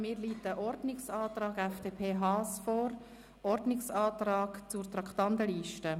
Mir liegt ein Ordnungsantrag FDP/Haas vor: «Ordnungsantrag zur Traktandenliste».